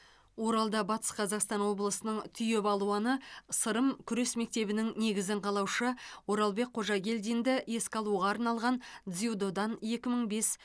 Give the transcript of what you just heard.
оралда батыс қазақстан облысының түйе балуаны сырым күрес мектебінің негізін қалаушы оралбек қожагелдинді еске алуға арналған дзюдодан екі мың бес